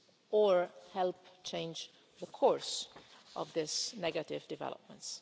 or help change the course of these negative developments.